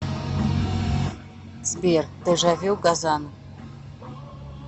сбер дежавю газан